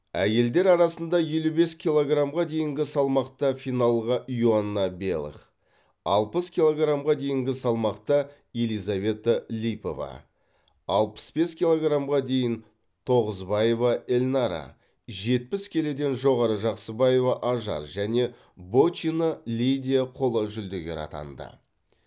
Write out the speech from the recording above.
әйелдер арасында елу бес килограммға дейінгі салмақта финалға иоанна белых алпыс килограммға дейінгі салмақта елизавета липова алпыс бес килограммға дейін тоғызбаева эльнара жетпіс келіден жоғары жақсыбаева ажар және бочина лидия қола жүлдегер атанды